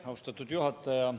Austatud juhataja!